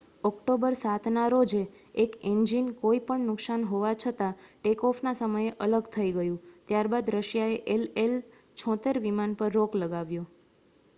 October 7 ના રોજે એક ઈન્જીન કોઈ પણ નુકસાન હોવા છતાં ટેક-ઓફ ના સમયે અલગ થઈ ગયુ ત્યારબાદ રશિયાએ ii-76 વિમાન પર રોક લગાવ્યો